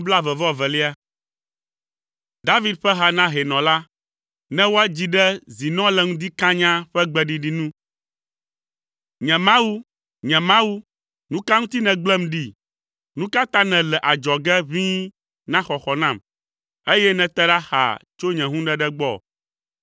David ƒe ha na hɛnɔ la, ne woadzi ɖe “Zinɔ le ŋdi kanyaa” ƒe gbeɖiɖi nu. Nye Mawu, nye Mawu, nu ka ŋuti nègblẽm ɖi? Nu ka ta nèle adzɔge ʋĩi na xɔxɔ nam, eye nète ɖa xaa tso nye hũɖeɖe gbɔ?